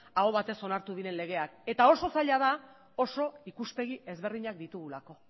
aho batez onartu diren legeak eta oso zaila da oso ikuspegi ezberdinak ditugulako